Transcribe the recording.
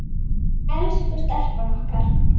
Elsku stelpan okkar.